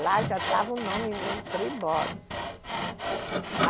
Lá já estava o nome mesmo, Tribódomo.